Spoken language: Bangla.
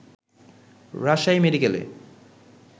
রাজশাহী মেডিকেলে